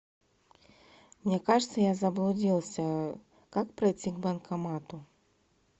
мне кажется я заблудился как пройти к банкомату